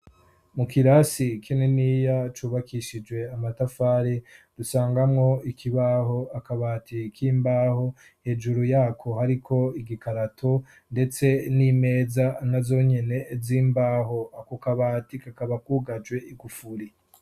Mu kirasi kininiya cubakishije amatafari dusangamwo ikibaho akabati k'imbaho hejuru yako hariko igikarato ndetse n'imeza nazo nyene z'imbaho ako kabati kakaba kugajwe igufuri.